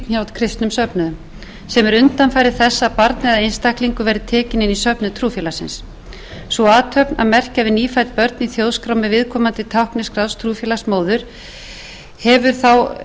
kristnum söfnuðum sem er undanfari þess að barn eða einstaklingur verði tekinn inn í söfnuð trúfélagsins sú athöfn að merkja við nýfædd börn í þjóðskrá með viðkomandi tákni skráðs trúfélags móður hefur þá í raun